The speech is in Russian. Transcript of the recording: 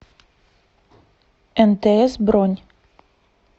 нтс бронь